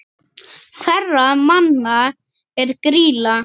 Hverra manna er Grýla?